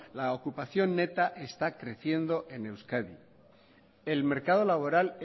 la ocupación neta está creciendo en euskadi el mercado laboral